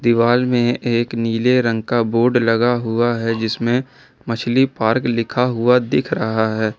दीवाल में एक नीले रंग का बोर्ड लगा हुआ है जिसमें मछली पार्क लिखा हुआ दिख रहा है।